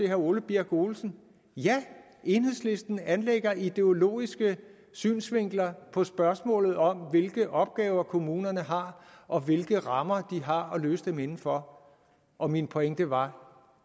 herre ole birk olesen ja enhedslisten anlægger ideologiske synsvinkler på spørgsmålet om hvilke opgaver kommunerne har og hvilke rammer de har at løse dem inden for og min pointe var